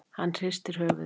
Hann hristir höfuðið.